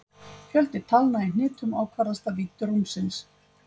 Fjöldi talna í hnitum ákvarðast af vídd rúmsins.